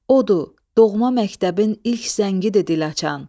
Odur, doğma məktəbin ilk zəngidir dil açan.